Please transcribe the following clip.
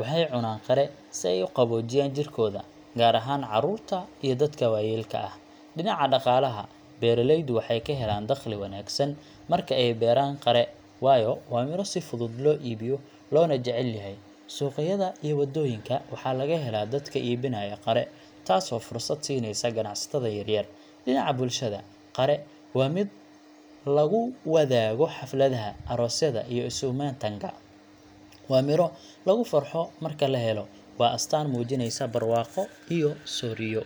waxay cunaan qare si ay u qaboojiyaan jirkooda, gaar ahaan carruurta iyo dadka waayeelka ah. Dhinaca dhaqaalaha, beeraleydu waxay ka helaan dakhli wanaagsan marka ay beeraan qare, waayo waa midho si fudud loo iibiyo loona jecel yahay. Suuqyada iyo waddooyinka waxaa laga helaa dadka iibinaya qare, taasoo fursad siinaysa ganacsatada yaryar. Dhinaca bulshada, qare waa mid lagu wadaago xafladaha, aroosyada, iyo isu-imaatinka. Waa midho lagu farxo marka la helo, waana astaan muujinaysa barwaaqo iyo sooryo.